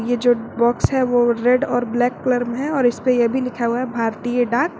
यह जो बॉक्स है वो रेड और ब्लैक कलर में है और इस पे यह भी लिखा हुआ है भारतीय डाक।